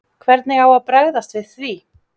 Hvernig á að bregðast við því?